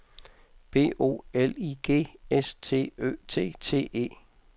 B O L I G S T Ø T T E